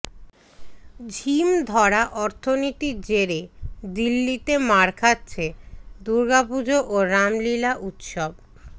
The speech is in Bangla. ঝিম ধরা অর্থনীতির জেরে দিল্লিতে মার খাচ্ছে দুর্গাপুজো ও রামলীলা উত্সব